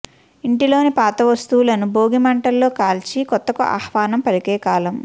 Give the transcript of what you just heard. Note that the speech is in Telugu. ఇంటిలోని పాత వస్తువులను భోగి మంటల్లో కాల్చి కొత్తకు ఆహ్వానం పలికేకాలం